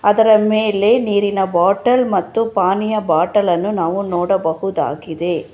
ಅದರ ಮೇಲೆ ನೀರಿನ ಬಾಟಲ್ ಮತ್ತು ಪಾನಿಯ ಬಾಟಲ್ಲನ್ನು ನಾವು ನೋಡಬಹುದಾಗಿದೆ.